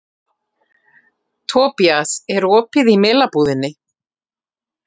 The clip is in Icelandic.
Tobías, er opið í Melabúðinni?